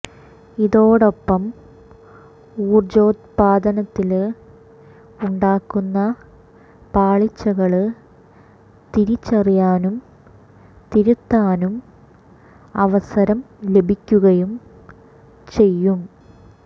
ഇതോടൊപ്പം ഊര്ജോത്പാദനത്തില് ഉണ്ടാക്കുന്ന പാളിച്ചകള് തിരിച്ചറിയാനും തിരുത്താനും അവസരം ലഭിക്കുകയും ചെയ്യും